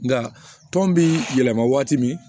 Nka tɔn bi yɛlɛma waati min